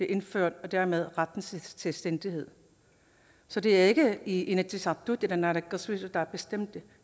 indført og dermed retten til selvstændighed så det er ikke inatsisartut eller naalakkersuisut der har bestemt det